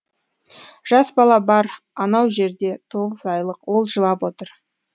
жас бала бар анау жерде тоғыз айлық ол жылап отыр